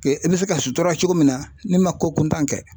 Kɛ i bɛ se ka sutura cogo min na ne ma ko kuntan kɛ